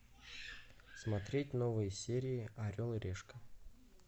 смотреть новые серии орел и решка